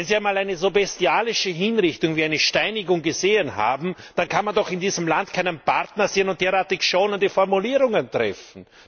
Wenn Sie einmal eine so bestialische Hinrichtung wie eine Steinigung gesehen haben, dann kann man doch in diesem Land keinen Partner sehen und derartig schonende Formulierungen verwenden.